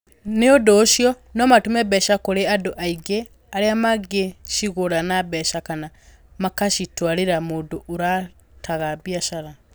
Nĩ ũndũ ũcio, no matũme mbeca kũrĩ andũ angĩ arĩa mangĩcigũra na mbeca kana makacitwarĩra mũndũ ũrutaga biacara.